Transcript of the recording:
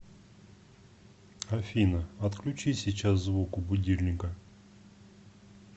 афина отключи сейчас звук у будильника